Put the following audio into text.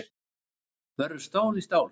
Verður stál í stál